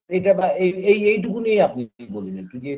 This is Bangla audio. এইটা বা এই এই এইটুকুনি আপনি বলুন একটু যে